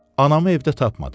Anamı evdə tapmadım.